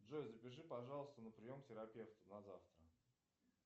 джой запиши пожалуйста на прием к терапевту на завтра